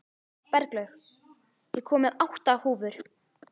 Berglaug, ég kom með átta húfur!